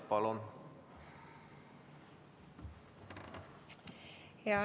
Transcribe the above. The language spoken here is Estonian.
Palun!